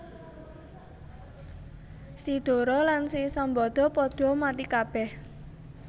Si Dora lan si Sambada padha mati kabèh